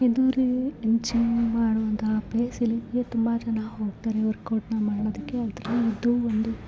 ಇದು ರೀ ಜಿಮ್‌ ಮಾಡುವಂತಹ ಜಾಗ ಇದಕ್ಕೆ ಸುಮಾರು ಜನ ಹೋಗ್ತಾರೆ ವರ್ಕ್‌ಔಟ್‌ ಮಾಡೋದಕ್ಕೆ ಆದ್ರೆ ಇದು ಒಂದು--